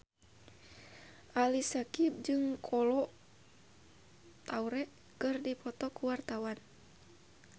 Ali Syakieb jeung Kolo Taure keur dipoto ku wartawan